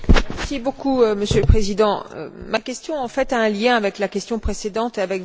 Monsieur le Président, ma question a en fait un lien avec la question précédente et votre réponse.